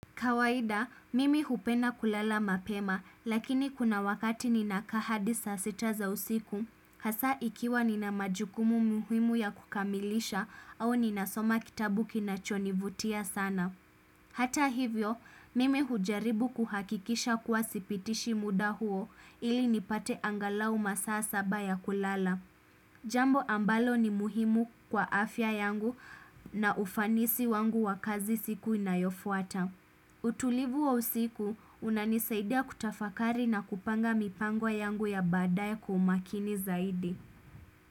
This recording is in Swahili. Kawaida, mimi hupenda kulala mapema, lakini kuna wakati ninakaa hadi saa sita za usiku, hasa ikiwa nina majukumu muhimu ya kukamilisha au ninasoma kitabu kinachonivutia sana. Hata hivyo, mimi hujaribu kuhakikisha kuwa sipitishi muda huo ili nipate angalau masaa saba ya kulala. Jambo ambalo ni muhimu kwa afya yangu na ufanisi wangu wa kazi siku inayofuata. Utulivu wa usiku unanisaidia kutafakari na kupanga mipango yangu ya baadaye kwa umakini zaidi.